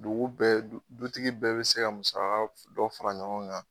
Dugu bɛɛ du dutigi bɛɛ bɛ se ka musaga f dɔ fara ɲɔgɔn kan